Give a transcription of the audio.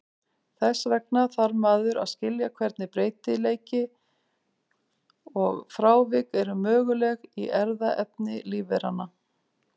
Þess vegna þarf maður að skilja hvernig breytileiki og frávik eru möguleg í erfðaefni lífveranna.